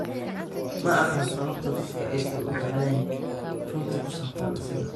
"Ma aqaan sababta dadku aysan u jeclayn runta ku saabsan isaga."